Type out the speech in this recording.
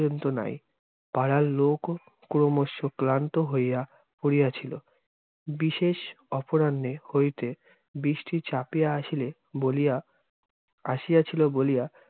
নাই । পাড়ার লোকও ক্রমশ্য ক্লান্ত হইয়া পড়িয়া ছিল। বিশেষ অপরাহ্নে হইতে, বৃষ্টি চাপিয়া আসিলে বলিয়া- আসিয়া ছিল বলিয়া